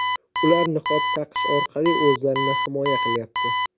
Ular niqob taqish orqali o‘zlarini himoya qilyapti.